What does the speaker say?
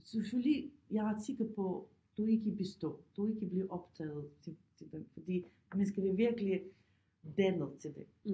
Selvfølgelig jeg er ret sikker på du ikke består du ikke bliver optaget til til den fordi man skal være virkelig dannet til det